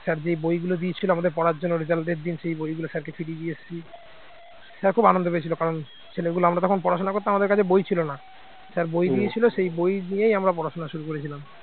sir যে বইগুলো দিয়েছিলেন আমাদের পড়ার জন্য result র দিন সেই বইগুলো sir কে ফিরিয়ে দিয়ে এসেছি sir খুব আনন্দ পেয়েছিল কারণ ছেলেগুলো আমরা তখন পড়াশোনা করতাম আমাদের কাছে বই ছিল না। sir বই দিয়েছিল সেই বই দিয়েই আমরা পড়াশুনা শুরু করেছিলাম